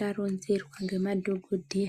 taronzerwa nemadhogodheya.